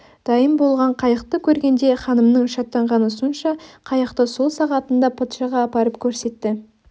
дайын болған қайықты көргенде ханымның шаттанғаны сонша қайықты сол сағатында патшаға апарып көрсетті